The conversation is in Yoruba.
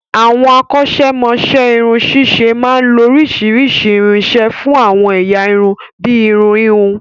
Àwọn akọ́ ṣẹ́mọ'ṣẹ́ irun ṣíṣe máa ń lo oríṣiríṣi irinṣẹ́ fún àwọn ẹ̀yà irun bíi irun híhun